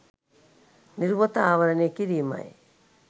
නිරුවත ආවරණය කිරීමයි.